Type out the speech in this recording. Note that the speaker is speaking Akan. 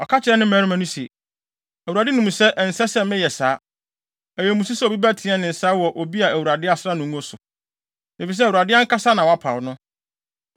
Ɔka kyerɛɛ ne mmarima no se, “ Awurade nim sɛ ɛnsɛ sɛ meyɛ saa. Ɛyɛ mmusu sɛ obi bɛteɛ me nsa wɔ obi a Awurade asra no ngo so; efisɛ Awurade ankasa na wapaw no.”